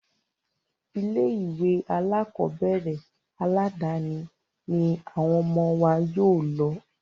Ilé ìwé alákọ̀berẹ̀ aládàni ní àwọn ọmọ wa yóò lọ.